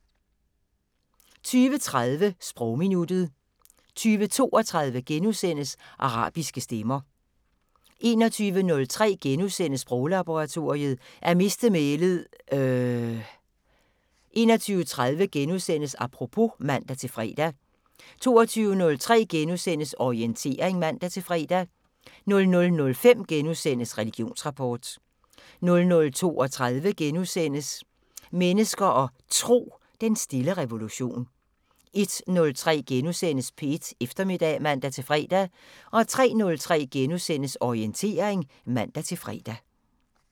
20:30: Sprogminuttet 20:32: Arabiske stemmer * 21:03: Sproglaboratoriet: At miste mælet - øhhhhhhhh * 21:30: Apropos *(man-fre) 22:03: Orientering *(man-fre) 00:05: Religionsrapport * 00:32: Mennesker og Tro: Den stille revolution * 01:03: P1 Eftermiddag *(man-fre) 03:03: Orientering *(man-fre)